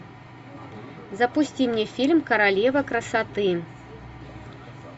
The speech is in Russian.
запусти мне фильм королева красоты